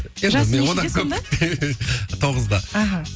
жасы нешеде сонда тоғызда аха